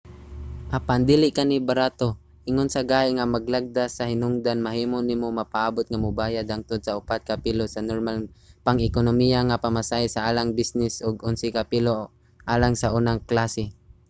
apan dili kini barato: ingon sa gahi nga mga lagda sa hinugdan mahimo nimo mapaabut nga mobayad hangtod sa upat ka pilo sa normal nga pang-ekonomiya nga pamasahe sa alang sa bisnis ug onse ka pilo alang sa unang klase!